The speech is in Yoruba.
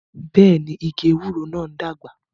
Bẹẹni, igi ewúro náà ń dàgbà